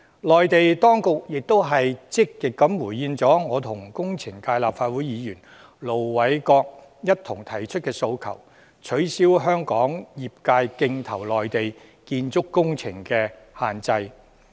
內地當局亦積極回應我與立法會工程界代表盧偉國議員一同提出的訴求，取消香港業界競投內地建築工程的限制。